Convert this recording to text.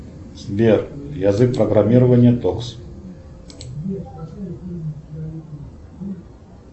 сбер язык программирования токс